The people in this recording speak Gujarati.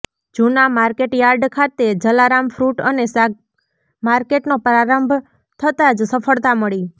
જૂના માર્કેટયાર્ડ ખાતે જલારામ ફ્રુટ અને શાક માર્કેટનો પ્રારંભ થતાં જ સફળતા મળી